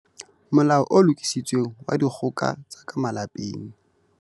Molao o Lokisitsweng wa Dikgoka tsa ka Malapeng.